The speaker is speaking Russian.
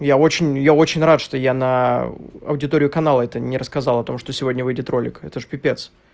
я очень я очень рад что я на аудиторию канала это не рассказал о том что сегодня выйдет ролик это же пипец